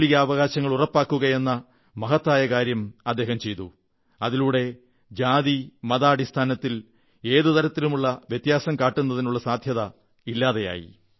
മൌലികാവകാശങ്ങൾ ഉറപ്പാക്കുകയെന്ന മഹത്തായ കാര്യം അദ്ദേഹം ചെയ്തു അതിലൂടെ ജാതിമതാടിസ്ഥാനത്തിൽ ഒരു തരത്തിലുമുള്ള വ്യത്യാസം കാട്ടുന്നതിനുള്ള സാധ്യത ഇല്ലാതെയായി